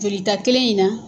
Jolita kelen in na